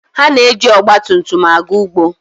Ha na-eji ọgba tum tum aga ugbo.